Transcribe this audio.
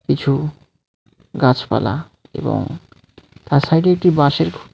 কিছু গাছপালা এবং তার সাইডে একটি বাঁশের খুঁটি .